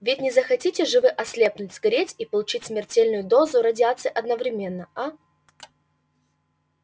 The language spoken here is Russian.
ведь не захотите же вы ослепнуть сгореть и получить смертельную дозу радиации одновременно а